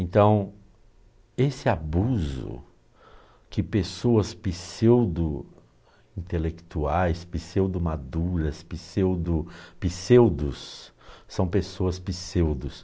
Então, esse abuso que pessoas pseudo-intelectuais, pseudo-maduras, pseudo-pseudos, são pessoas pseudo.